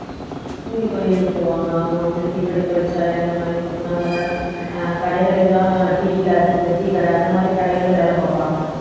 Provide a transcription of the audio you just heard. அஹ் கூலித்தொழிலுக்கு போவாங்க அவங்க வந்து தீப்பெட்டி தொழிற்சாலை அந்த மாதிரி கொத்துனார் வேலை அஹ் கடைகளுக்கெல்லாம் tea glass tea கடை அந்த மாதிரி கடைகள்ல வேலை பார்ப்பாங்க